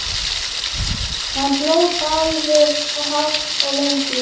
Hann hló bæði hátt og lengi.